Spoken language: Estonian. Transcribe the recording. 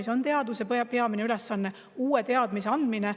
See ongi teaduse peamine ülesanne: uue teadmise andmine.